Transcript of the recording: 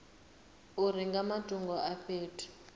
uri nga matungo a fhethu